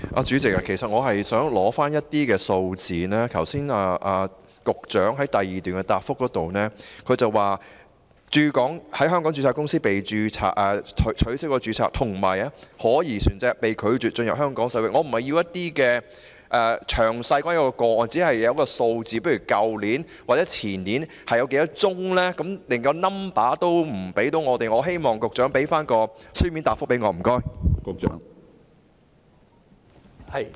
主席，其實我是想獲取一些數字，局長剛才在主體答覆第二部分提到，有香港註冊公司被取消註冊，以及可疑船隻被拒絕進入香港水域，我並不是想要有關個案的詳細內容，我只是想要一些數據，例如去年或前年有多少宗個案，但局長連數字也未能提供給我們，我希望局長提供書面答覆。